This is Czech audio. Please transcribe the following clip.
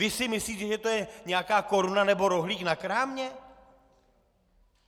Vy si myslíte, že to je nějaká koruna nebo rohlík na krámě?